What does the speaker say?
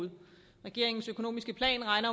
i regeringens økonomiske plan regner